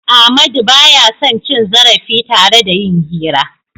Ahmadu ba ya son cin zarafi tare da yin hira.